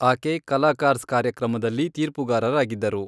ಆಕೆ ಕಲಾಕಾರ್ಜ಼್ ಕಾರ್ಯಕ್ರಮದಲ್ಲಿ ತೀರ್ಪುಗಾರರಾಗಿದ್ದರು.